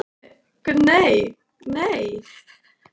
Það var reyndar meira hér áður- svaraði Urður.